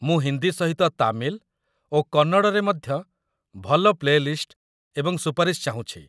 ମୁଁ ହିନ୍ଦୀ ସହିତ ତାମିଲ ଓ କନ୍ନଡ଼ରେ ମଧ୍ୟ ଭଲ ପ୍ଲେ ଲିଷ୍ଟ ଏବଂ ସୁପାରିଶ ଚାହୁଁଛି।